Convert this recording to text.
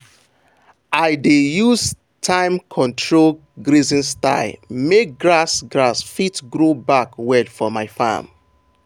i dey use time-control grazing style make grass grass fit grow back well for my farm.